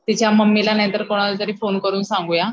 तिच्या मम्मीला किंवा कोणाला तरी फोन करून सांगूया.